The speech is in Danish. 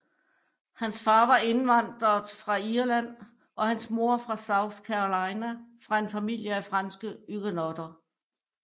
Hans far var indvandret fra Irland og hans mor fra South Carolina fra en familie af franske Huguenotter